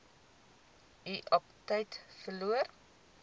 u aptyt verloor